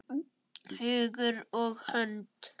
Hugur og hönd.